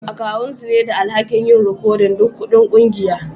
Akawu su ne da alhaki'n yin rikodin duk kuɗin kungiyan.